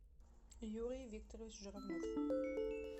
юрий викторович журавлев